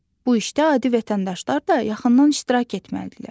Bu işdə adi vətəndaşlar da yaxından iştirak etməlidirlər.